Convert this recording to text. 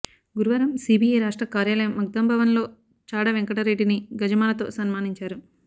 గురువారం సీపీఐ రాష్ట్ర కార్యాలయం మఖ్దూంభవన్లో చాడ వెంకటరెడ్డిని గజమాలతో సన్మానించారు